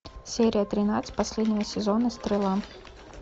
серия тринадцать последнего сезона стрела